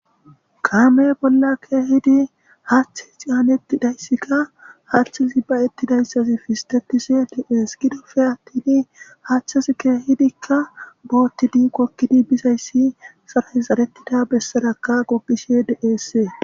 kaame bolla keehidi haththe xianeti dayssikka harthe zibayetidayssazi fistetishe dies gidofe attini hachchaskkehidikka bootti diqokkidi bizayssi sarayi xaretida bessarakka goqishe de'ssee